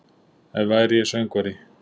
Ef væri ég söngvari